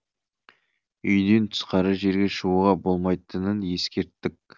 үйден тысқары жерге шығуға болмайтынын ескерттік